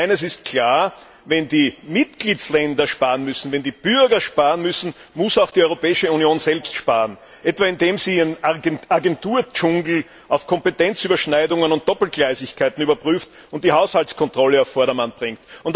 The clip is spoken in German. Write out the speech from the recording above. Und eines ist klar Wenn die Mitgliedstaaten sparen müssen, wenn die Bürger sparen müssen, muss auch die Europäische Union selbst sparen, etwa indem sie ihren Agentur Dschungel auf Kompetenzüberschneidungen und Doppelgleisigkeiten überprüft und die Haushaltskontrolle auf Vordermann bringt.